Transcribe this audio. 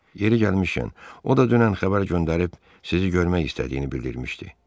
Yeri gəlmişkən, o da dünən xəbər göndərib sizi görmək istədiyini bildirmişdi.